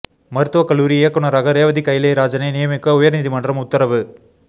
மருத்துவ கல்லூரி இயக்குனராக ரேவதி கயிலை ராஜனை நியமிக்க உயர் நீதிமன்றம் உத்தரவு